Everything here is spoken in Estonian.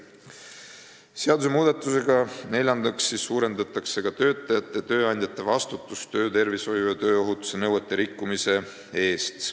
Neljandaks, seadusmuudatusega suurendatakse ka töötajate ja tööandjate vastutust töötervishoiu ja tööohutuse nõuete rikkumise eest.